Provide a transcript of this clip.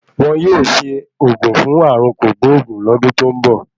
Won yóò ṣe ògùn fún ààrùn kògbóògùn lọ́dún tó ń bọ̀.